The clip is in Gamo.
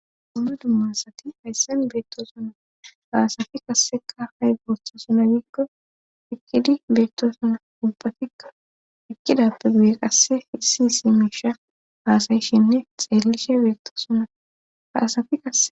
Dumma dummasati hayssen beetto suna haasafi kasseka hay goosto suna giigko cikkidi beetto suna dubbatikka ikkidappe guye qasse hissi simisha haasayishinne xeellishe beertosuna faasafi qasse.